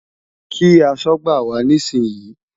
Kí aṣọ́gbà wá nísìnyí!